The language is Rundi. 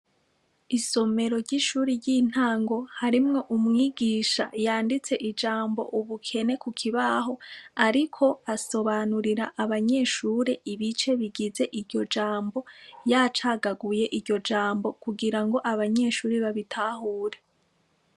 Isomero ry'ishure ry'intango harimwo umwigisha yanditse ijambo ubukene ku kibaho, ariko asobanurira abanyeshure ibice bigize iryo jambo, yacagaguye iryo jambo kugirango abanyeshure babitahure.